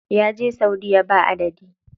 Ya je saudiya ba adadi.